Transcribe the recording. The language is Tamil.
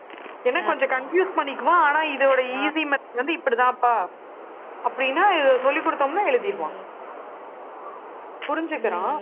ஏன்னா கொஞ்சம் confuse பண்ணிக்குவான். ஆனா இதோட easy method வந்து இப்படித்தான்ப்பா. அப்படின்னா இதை சொல்லிக் கொடுத்தோம்ன்னா எழுதிருவான் புரிஞ்சிக்கிறான்